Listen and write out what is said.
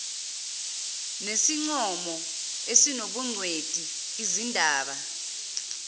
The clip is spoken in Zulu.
nesincomo esinobungcweti lzindaba